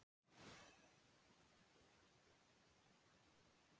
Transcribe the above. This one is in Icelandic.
Oturgjöld eru í skáldskap kenning fyrir gull.